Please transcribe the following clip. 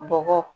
Bɔgɔ